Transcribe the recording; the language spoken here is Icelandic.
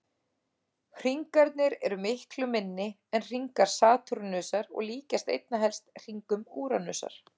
Hringarnir eru miklu minni en hringar Satúrnusar og líkjast einna helst hringum Úranusar.